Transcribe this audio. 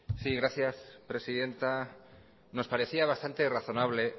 sí gracias presidenta nos parecía bastante razonable